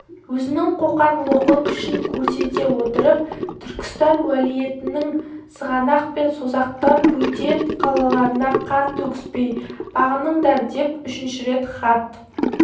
өзінің қоқан-лоқы күшін көрсете отырып түркістан уәлиетінің сығанақ пен созақтан бөтен қалаларына қан төгіспей бағыныңдардеп үшінші рет хат